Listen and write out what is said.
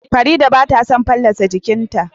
Fareedah bata son fallasa jiƙinta